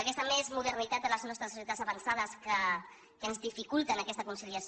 aquesta més modernitat de les nostres societats avançades que ens dificulten aquesta conciliació